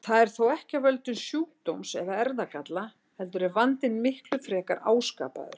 Það er þó ekki af völdum sjúkdóms eða erfðagalla heldur er vandinn miklu frekar áskapaður.